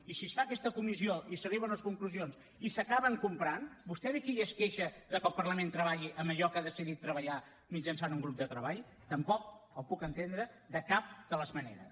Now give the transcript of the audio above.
i si es fa aquesta comissió i s’arriba a unes conclusions i s’acaben comprant vostè ve aquí i es queixa de que el parlament treballi en allò que ha decidit treballar mitjançant un grup de treball tampoc el puc entendre de cap de les maneres